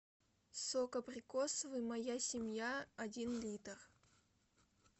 сок абрикосовый моя семья один литр